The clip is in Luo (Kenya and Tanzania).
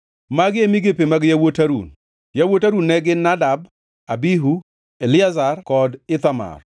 Magi e migepe mag yawuot Harun. Yawuot Harun ne gin: Nadab, Abihu, Eliazar kod Ithamar.